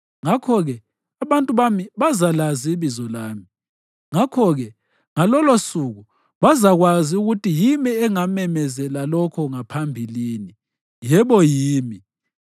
Ngakho-ke abantu bami bazalazi ibizo lami, ngakho-ke ngalolosuku bazakwazi ukuthi yimi engamemezela lokho ngaphambilini. Yebo, yimi.”